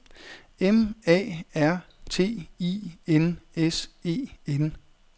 M A R T I N S E N